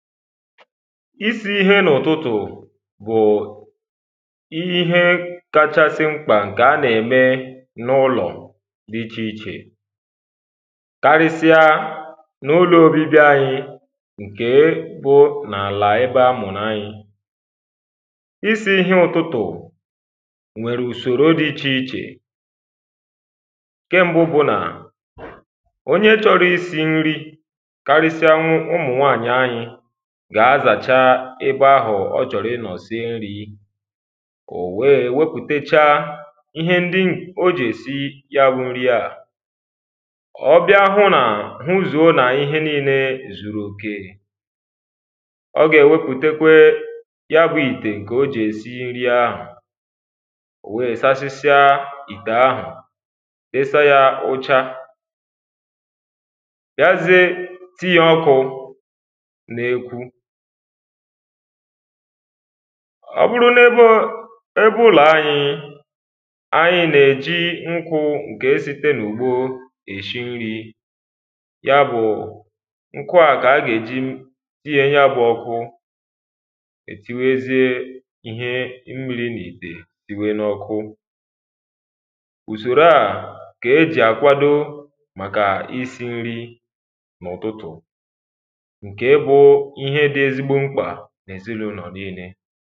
isī īhē n’ụ̀tụtụ̀ bụ̀ ihe kāchāsị̄ mkpà ṅ̀kè a nà-ème n’ụlọ̀ dị̄ ichèichè karịsịa n’ụlọ̄ òbibi anyị̄ ǹ̇ke bụ̄ n’àlà ebe a mụ̀rụ̀ anyị̄ isī ihe ụtụtụ̀ nwèrè ùsòrò dị ichè ichè ǹ̇ke mbụ bụ̄ nà onye chọ̄rọ̄ isī nri karịsịanwụ ụmụ̀nwaànyị̀ anyị gà-azàcha ebe ahụ̀ ọ chọ̀rọ̀ ịnọ̀ sie nrī ò wee wepùtechaa ihe ndị o jì èsi ya bụ nri à ọ bịa hụ nà hụzùo nà ihe niile zùrù òkè ọ gà-èwepùtekwe ya bụ̄ ìtè ǹkè o jì èsi nri ahụ̀ ò wee sasịsịa ìtè ahụ̀ desa yā ụ̄chā gazie tii ọkụ̄ n’ekwu ọ bụrụ n’ebe o ebe ụlọ̀ ayị̄ ayị nà-èji ṅkụ ṅke site n’ùgbo èshi nrī ya bụ̀ ṅkụ à kà a gà-èji tiye ya bụ̄ ọkụ è tiwezie ihe mmīrī n’ìtè tiwe n’ọkụ ùsòro a kà e jì àkwado màkà isī nri n’ụ̀tụtụ̀ ǹ̇ke bụ̄ ihe dị̄ ezigbo mkpà n’èzinàulọ̀ niilē